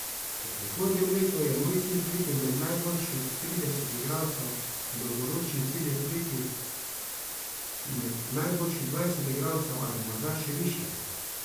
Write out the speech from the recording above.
V prihodnjem letu je moj cilj priti med najboljših trideset igralcev, dolgoročni cilj je priti med najboljših dvajset igralcev ali morda še višje.